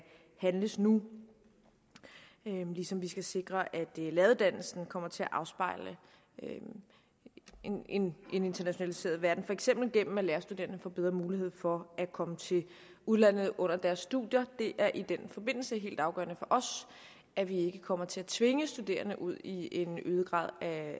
handles nu ligesom vi skal sikre at læreruddannelsen kommer til at afspejle en internationaliseret verden for eksempel gennem at lærerstuderende får bedre mulighed for at komme til udlandet under deres studier det er i den forbindelse helt afgørende for os at vi ikke kommer til at tvinge studerende ud i en øget grad